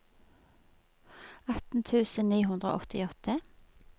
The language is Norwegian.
atten tusen ni hundre og åttiåtte